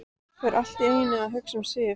Fer allt í einu að hugsa um Sif.